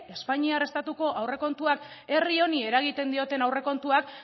espainiar estatuko aurrekontuak herri honi eragiten dioten aurrekontuak